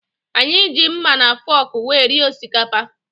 Anyị ji mma na fọọkụ wee rie osikapa.